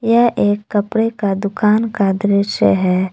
यह एक कपड़े का दुकान का दृश्य है।